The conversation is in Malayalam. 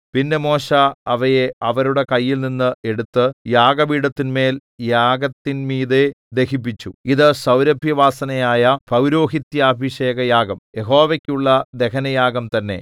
പിന്നെ മോശെ അവയെ അവരുടെ കൈയിൽനിന്ന് എടുത്ത് യാഗപീഠത്തിന്മേൽ യാഗത്തിൻമീതെ ദഹിപ്പിച്ചു ഇതു സൗരഭ്യവാസനയായ പൌരോഹിത്യാഭിഷേകയാഗം യഹോവയ്ക്കുള്ള ദഹനയാഗം തന്നെ